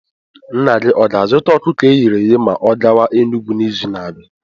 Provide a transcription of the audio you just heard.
Nna gị ọ ga-azụta ọkụkọ eghere eghe ma ọ gawa Enugwu n'izu na-abịa?